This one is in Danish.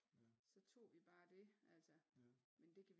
Så tog vi bare det altså men det kan